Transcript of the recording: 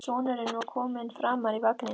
Sonurinn var kominn framar í vagninn.